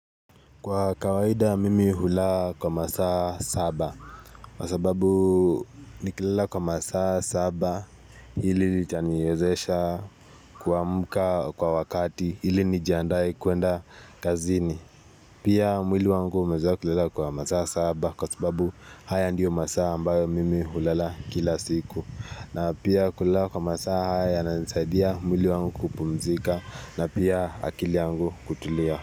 Kwa kawaida mimi hulala kwa masaa saba, kwa sababu nikilala kwa masaa saba hili litaniyezesha kuamuka kwa wakati ili nijiandae kuenda kazini. Pia mwili wangu umezoea kulala kwa masaa saba kwa sababu haya ndiyo masaa ambayo mimi hulaa kila siku. Na pia kulala kwa masaa haya yananisaidia mwili wangu kupumzika na pia akili yangu kutulia.